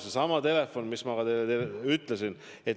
Seesama telefon, mis ma teile enne ütlesin.